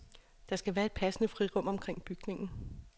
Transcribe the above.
Der skal være et passende frirum omkring bygningen.